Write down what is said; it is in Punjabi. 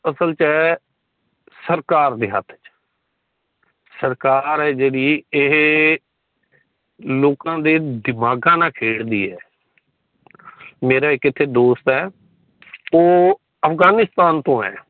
ਅਸਲ ਹੈ ਸਰਕਾਰ ਦੇ ਹਾੱਥ ਚ ਸਰਕਾਰ ਹੀ ਜੇੜੀ ਏਹੇ ਲੋਕਾਂ ਦੇ ਦਿਮਾਗ਼ ਨਾਲ ਖੇਡਦੀ ਹੈ। ਮੇਰਾ ਇੱਥੇ ਇੱਕ ਦੋਸਤ ਹੈ ਉਹ ਅਫ਼ਗ਼ਾਨਿਸਤਾਨ ਤੋਂ ਹੈ